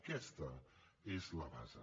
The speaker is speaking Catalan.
aquesta és la base